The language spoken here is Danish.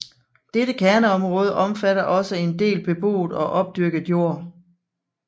Dette kerneområde omfatter også en del beboet og opdyrket jord